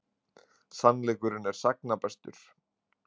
Sannleikurinn er sagna bestur.